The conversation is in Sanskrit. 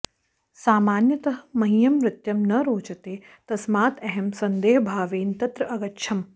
सामान्यतः मह्यं नृत्यं न रोचते तस्मात् अहं संदेहभावेन तत्र अगच्छम्